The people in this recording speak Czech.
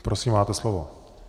Prosím, máte slovo.